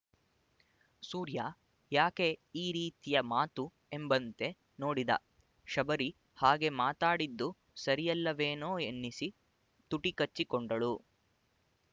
ಸೂರ್ಯ ಯಾಕೆ ಈರೀತಿಯ ಮಾತು ಎಂಬಂತೆ ನೋಡಿದ ಶಬರಿ ಹಾಗೆ ಮಾತಾಡಿದ್ದು ಸರಿಯಲ್ಲವೇನೊ ಎನ್ನಿಸಿ ತುಟಿಕಚ್ಚಿಕೊಂಡಳು